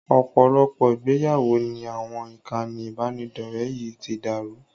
Ọ̀pọ̀lọpọ̀ ìgbéyàwó ni àwọn ìkànnì ìbánidọ̀rẹ́ yìí ti dàrú